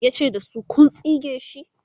yace da su,"ku tsige sh!"